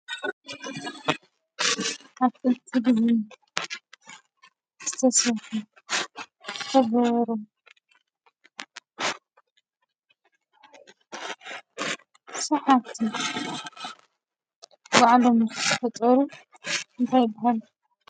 ካብጥልቲ ድህ ስተሰሑ ፈበበሮም ሰሓቲ ወዕሎም ፈጦሩ እንታይብሃል?